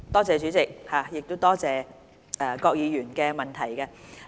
主席，多謝郭議員的補充質詢。